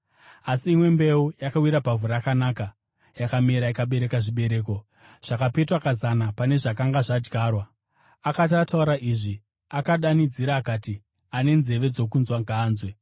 Asi imwe mbeu yakawira pavhu rakanaka. Yakamera ikabereka zvibereko, zvakapetwa kazana pane zvakanga zvadyarwa.” Akati ataura izvi, akadanidzira akati, “Ane nzeve dzokunzwa, ngaanzwe.”